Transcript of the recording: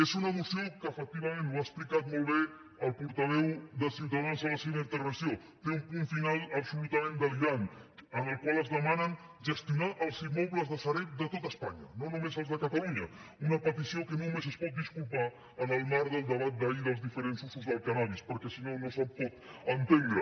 és una moció que efectivament ho ha explicat molt bé el portaveu de ciutadans a la seva intervenció té un punt final absolutament delirant en el qual es demana gestionar els immobles de sareb de tot espanya no només els de catalunya una petició que només es pot disculpar en el marc del debat d’ahir dels diferents usos del cànnabis perquè si no no se pot entendre